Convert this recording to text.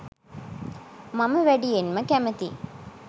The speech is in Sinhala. මම වැඩියෙන්ම කැමති